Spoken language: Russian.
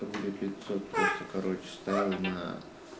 рублей пятьсот просто короче стоял на